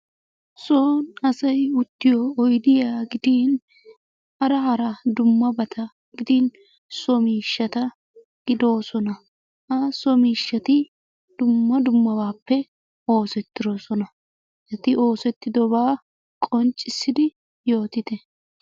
Son asay uttiyo oyidiya gidin hara hara dummabata gidin so miishshata gidoosona. Ha so miishshati dumma dummabaappe oosettidosona. Eti oosettidobaa qanccissidi yootite.